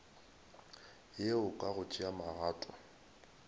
yeo ka go tšea magato